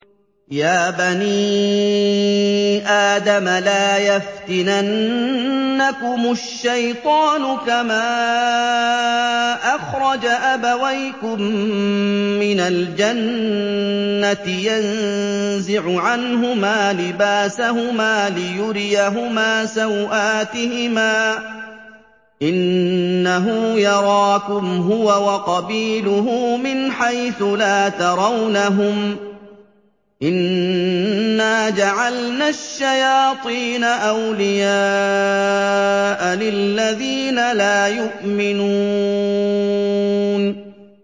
يَا بَنِي آدَمَ لَا يَفْتِنَنَّكُمُ الشَّيْطَانُ كَمَا أَخْرَجَ أَبَوَيْكُم مِّنَ الْجَنَّةِ يَنزِعُ عَنْهُمَا لِبَاسَهُمَا لِيُرِيَهُمَا سَوْآتِهِمَا ۗ إِنَّهُ يَرَاكُمْ هُوَ وَقَبِيلُهُ مِنْ حَيْثُ لَا تَرَوْنَهُمْ ۗ إِنَّا جَعَلْنَا الشَّيَاطِينَ أَوْلِيَاءَ لِلَّذِينَ لَا يُؤْمِنُونَ